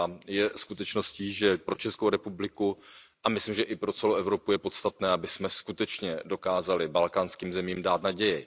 Je skutečností, že pro ČR a myslím, že i pro celou Evropu je podstatné, abychom skutečně dokázali balkánským zemím dát naději.